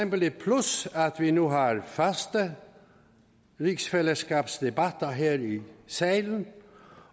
et plus at vi nu har faste rigsfællesskabsdebatter her i salen